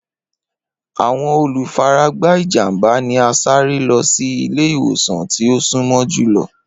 Awọn olufaragba ijamba ni a sare lọ si ile-iwosan ti o sunmọ julọ.